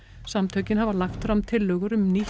samtökin hafa lagt fram tillögur um nýtt